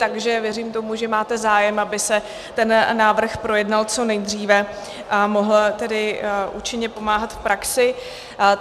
Takže věřím tomu, že máte zájem, aby se ten návrh projednal co nejdříve a mohl tedy účinně pomáhat v praxi.